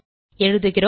எழுதுகிறோம்